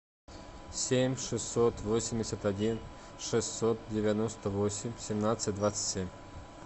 семь шестьсот восемьдесят один шестьсот девяносто восемь семнадцать двадцать семь